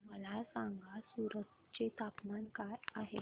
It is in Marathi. मला सांगा सूरत चे तापमान काय आहे